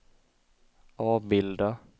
avbilda